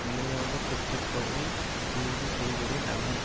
நிலையாக பெற்றிருப்பவரை தேர்வு செய்வதே நலம்